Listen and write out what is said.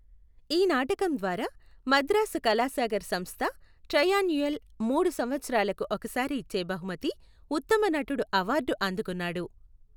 ఈ నాటకం ద్వారా మద్రాసు కళాసాగర్ సంస్థ ట్రైయాన్యుయల్ మూడు సంవత్సరాలకు ఒకసారి ఇచ్చే బహుమతి ఉత్తమ నటుడు అవార్డు అందుకున్నాడు.